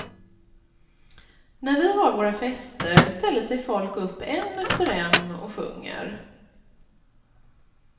När vi har våra fester ställer sig folk upp en efter en och sjunger.